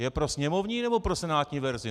Je pro sněmovní, nebo pro senátní verzi?